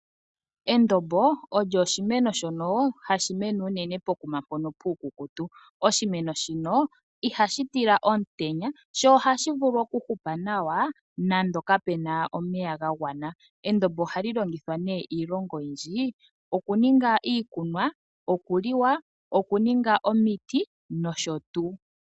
Endombo olyo oshimeno shono hashi mene unene pokuma mpono puukukutu. Oshimeno shino ihashi tila omutenya, sho ohashi vulu okuhupa nawa nande kapena omeya gagwana. Endombo ohali longithwa iilonga oyindji ngaashi okuninga iikunwa, okuliwa, okuninga omiti nosho tuu.